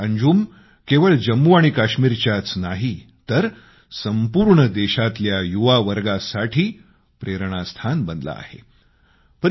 आज अंजुम केवळ जम्मू आणि काश्मीरच्याच नाही तर संपूर्ण देशातल्या युवा वर्गासाठी प्रेरणास्थान बनला आहे